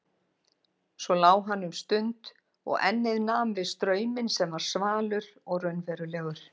Svo lá hann um stund og ennið nam við strauminn sem var svalur og raunverulegur.